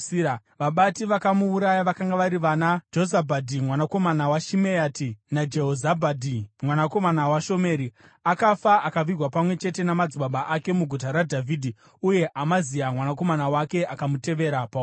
Vabati vakamuuraya vakanga vari vanaJozabhadhi mwanakomana waShimeati naJehozabhadhi mwanakomana waShomeri. Akafa akavigwa pamwe chete namadzibaba ake muGuta raDhavhidhi. Uye Amazia mwanakomana wake akamutevera paumambo.